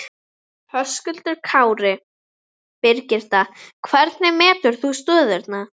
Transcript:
Höskuldur Kári: Birgitta, hvernig metur þú stöðuna?